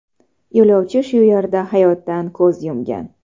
Yo‘lovchi shu yerda hayotdan ko‘z yumgan.